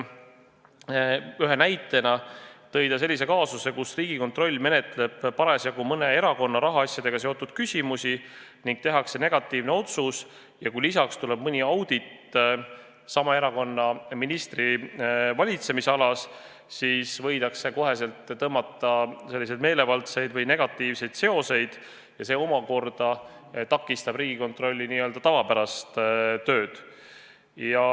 Ühe näitena tõi ta kaasuse, kus Riigikontroll menetleb parasjagu mõne erakonna rahaasjadega seotud küsimusi ning tehakse negatiivne otsus ja kui lisaks tuleb mõni audit sama erakonna ministri valitsemisalas, siis võidakse kohe tõmmata meelevaldseid negatiivseid seoseid ja see takistaks Riigikontrolli tavapärast tööd.